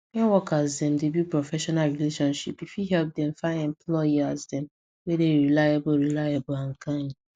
when workers dem dey build professional relationships e fit help dem find employers dem wey dey reliable reliable and kind